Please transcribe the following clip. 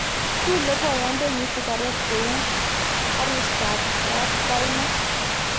kule boyondenyin sigaret kou arustab kapkaima